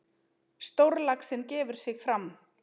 Stórlaxinn gefur sig fram.